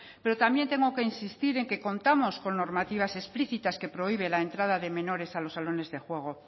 pero también tengo que insistir en que contamos con normativas explícitas que prohíben la entrada de menores a los salones de juego